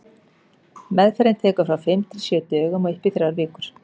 Meðferðin tekur frá fimm til sjö dögum og upp í þrjár vikur.